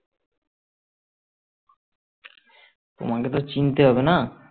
তোমাকে তো চিনতে হবে না